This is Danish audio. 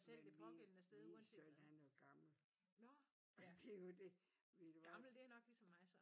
Men min min søn han er gammel. Det er jo det ved du hvad